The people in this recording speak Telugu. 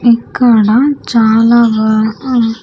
ఇక్కడ చాలా.